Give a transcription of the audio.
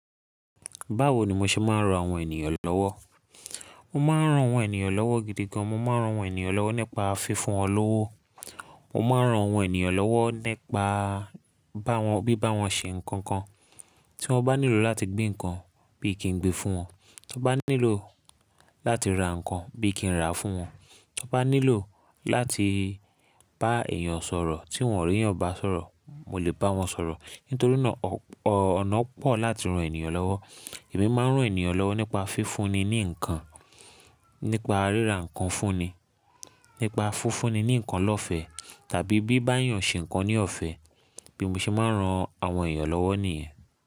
Báwo ni mo ṣe máa ń ran àwọn ènìyàn lọ́wọ́? Mo máa ń ran àwọn ènìyàn lọ́wọ́ gidi gan. Mo máa ń ran àwọn ènìyàn lọ́wọ́ nípa fífún wọn lówó. Mo máa ń ran àwọn ènìyàn lọ́wọ́ nípa bá wọn, bí bá wọn ṣe nǹkan kan. Tí wọ́n bá nílò láti gbé nǹkan bí i kí n gbé fún wọn. Tí wọ́n bá nílò láti ra nǹkan bí i kí n rà fún wọn. Tí wọ́n bá nílò láti bá èèyàn sọ̀rọ̀ tí wọ́n ò rí ẹ̀yin ọba sọ̀rọ̀, mo lè bá wọn sọ̀rọ̀. Nítorí náà, ọ̀nà pọ̀ láti ran ènìyàn lọ́wọ́. Èmi máa ń ran ènìyàn lọ́wọ́ nípa fífúnni ní nǹkan, nípa ríra nǹkan fúnni, nípa fúnfúnni ní nǹkan lọ̀fẹ́ tàbí bí bá èèyàn ṣe nǹkan ní ọ̀fẹ́. Bí mo ṣe máa ń ran àwọn ènìyàn lọ́wọ́ nìyẹn.